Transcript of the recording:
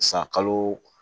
San kalo